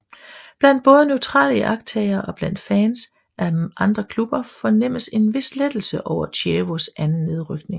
Blandt både neutrale iagttagere og blandt fans af andre klubber fornemmedes en vis lettelse over Chievos anden nedrykning